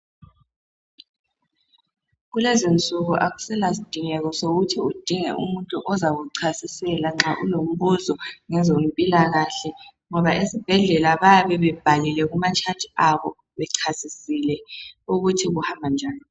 Kulezinsuku akuselasidingeko sokuhi udinge umuntu ozakuchasisela nxa ulombuzo, ngezompilakahle ngoba esibhedlela bayabe bebhalile kuma tshathi abo bechasisile ukuthi kuhamba njani.